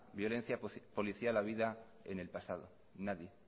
violencia policial habida en el pasado nadie